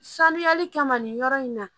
Sanuyali kama nin yɔrɔ in na